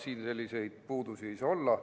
Siin selliseid puudusi olla ei saa.